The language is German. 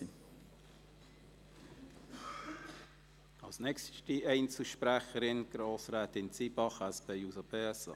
Die nächste Einzelsprecherin ist Grossrätin Zybach, SP-JUSO-PSA.